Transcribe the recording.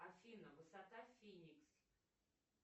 афина высота феникс